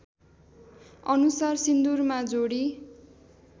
अनुसार सिन्दुरमा जोडी